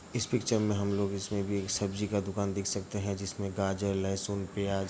इस पिक्चर में हम लोग इसमे भी एक सब्जी का दुकान देख सकते हैं जिसमे गाजर लहसुन प्याज़ --